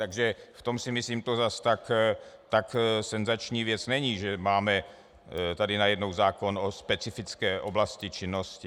Takže v tom si myslím, že to zas tak senzační věc není, že máme tady najednou zákon o specifické oblasti činnosti.